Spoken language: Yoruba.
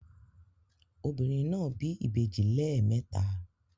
Obìnrin náà bí ìbejì lẹ́ẹ̀mẹta